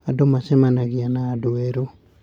Andũ macemanagia na andũ erũ.